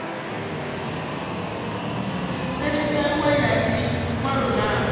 sethifaiwaho ya ḽi ṅwalo ḽavho